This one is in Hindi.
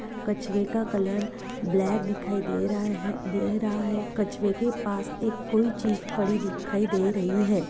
कछुवे का कलर ब्लैक दिखाई दे रहा है दे रहा है कछुवे के पासे एक कोई चीज़ पड़ी दिखाई दे रही हैं।